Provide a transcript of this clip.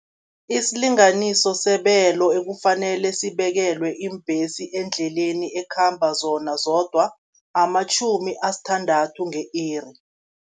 Isilinganiso sebelo ekufanele sibekelwe iimbhesi endleleni ekhamba zona zodwa, amatjhumi asithandathu nge-iri.